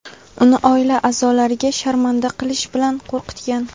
uni oila a’zolariga sharmanda qilish bilan qo‘rqitgan.